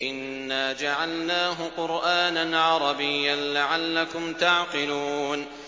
إِنَّا جَعَلْنَاهُ قُرْآنًا عَرَبِيًّا لَّعَلَّكُمْ تَعْقِلُونَ